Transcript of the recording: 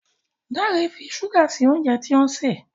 Dare ń fí ṣuga sí oúnjẹ tí òun ṣe